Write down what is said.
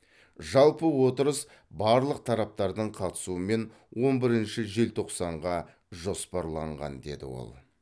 жалпы отырыс барлық тараптардың қатысуымен он бірінші желтоқсанға жоспарланған деді ол